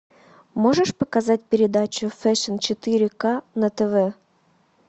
можешь показать передачу фэшн четыре ка на тв